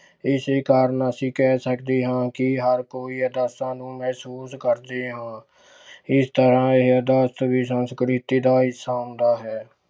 ਇਸੇ ਕਾਰਨ ਅਸੀਂ ਕਹਿ ਸਕਦੇ ਹਾਂ ਕਿ ਹਰ ਕੋਈ ਆਦਰਸਾਂ ਨੂੰ ਮਹਿਸੂਸ ਕਰਦੇ ਹਾਂ ਇਸ ਤਰ੍ਹਾਂ ਇਹ ਆਦਰਸ ਵੀ ਸੰਸਕ੍ਰਿਤੀ ਦਾ ਹਿੱਸਾ ਹੁੰਦਾ ਹੈ।